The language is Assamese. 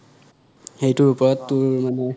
এইটোৰ ওপৰত অহ তোৰ মানে